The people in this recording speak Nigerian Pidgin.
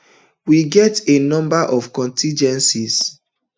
we get a number of contingencies